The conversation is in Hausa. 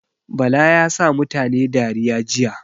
Bala yasa mutane dariya jiya